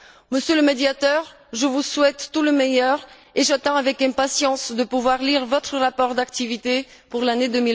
Monsieur le Médiateur, je vous souhaite tout le meilleur et j'attends avec impatience de pouvoir lire votre rapport d'activité pour l'année